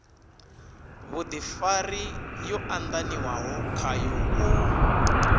vhudifari yo andaniwaho khayo u